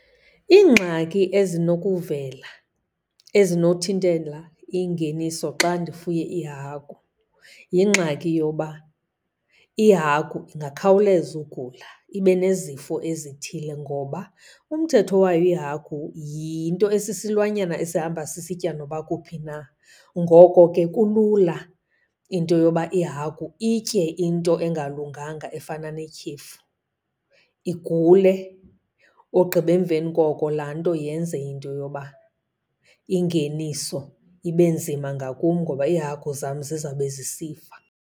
Iingxaki ezinokuvela ezinothintela ingeniso xa ndifuye iihagu yingxaki yoba, ihagu ingakhawuleza ugula ibe nezifo ezithile. Ngoba umthetho wayo ihagu, yinto esisilwanyana esihamba sisitya noba kuphi na, ngoko ke kulula into yoba ihagu itye into engalunganga efana netyhefu igule. Ogqiba emveni koko laa nto yenze into yoba ingeniso ibe nzima ngakum ngoba iihagu zam zizawube zisifa.